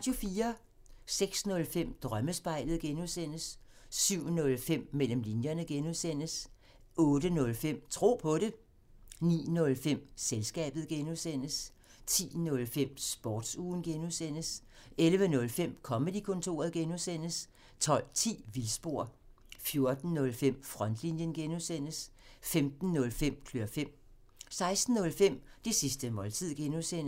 06:05: Drømmespejlet (G) 07:05: Mellem linjerne (G) 08:05: Tro på det 09:05: Selskabet (G) 10:05: Sportsugen (G) 11:05: Comedy-kontoret (G) 12:10: Vildspor 14:05: Frontlinjen (G) 15:05: Klør fem 16:05: Det sidste måltid (G)